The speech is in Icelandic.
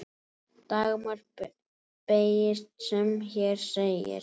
Dagmar beygist sem hér segir